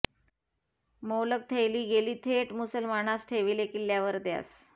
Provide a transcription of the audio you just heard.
मोलग थैली गेली थेट मुसलमानास ठेविले किल्ल्यावर त्यास